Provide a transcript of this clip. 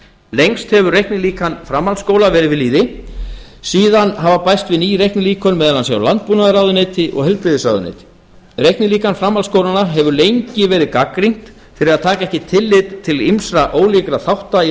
lengst hefur reiknilíkan framhaldsskóla verið við lýði síðan hafa bæst við ný reiknilíkön meðal annars hjá landbúnaðarráðuneyti og heilbrigðisráðuneyti reiknilíkan framhaldsskólanna hefur lengi verið gagnrýnt fyrir að taka ekki tillit til ýmissa ólíkra þátta í